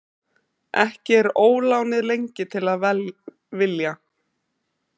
Ekki er ólánið lengi til að vilja.